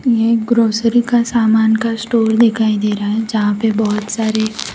ये एक ग्रोसरी का समान का स्टोर दिखाई दे रहा है जहां पे बहोत सारे --